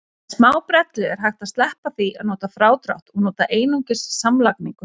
Með smábrellu er hægt að sleppa því að nota frádrátt og nota einungis samlagningu.